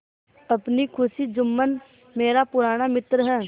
अपनी खुशी जुम्मन मेरा पुराना मित्र है